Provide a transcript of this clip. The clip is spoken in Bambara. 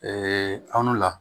anw la